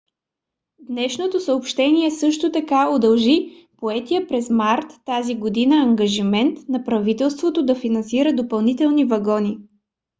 днешното съобщение също така удължи поетия през март тази година ангажимент на правителството да финансира допълнителни вагони